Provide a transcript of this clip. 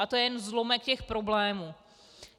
A to je jen zlomek těch problémů.